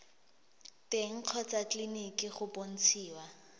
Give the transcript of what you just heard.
teng kgotsa tleleniki go bontshiwa